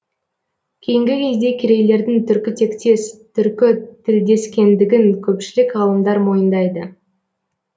кейінгі кезде керейлердің түркітектес түркітілдесекендігін көпшілік ғалымдар мойындайды